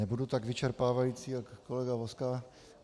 Nebudu tak vyčerpávající jako kolega Vozka.